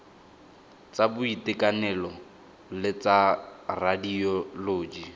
tsa boitekanelo le tsa radioloji